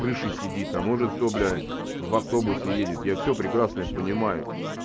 крыше сидит а может кто блядь в автобусе едет я всё прекрасно это понимаю